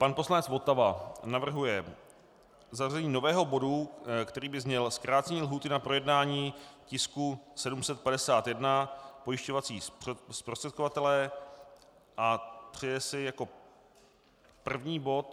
Pan poslanec Votava navrhuje zařazení nového bodu, který by zněl: zkrácení lhůty na projednání tisku 751, pojišťovací zprostředkovatelé, a přeje si jako první bod.